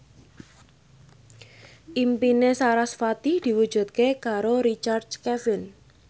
impine sarasvati diwujudke karo Richard Kevin